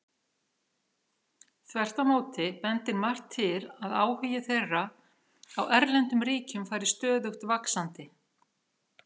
Þvert á móti bendir margt til að áhugi þeirra á erlendum ríkjum fari stöðugt vaxandi.